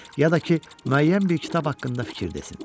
Ya da ki, müəyyən bir kitab haqqında fikir desin.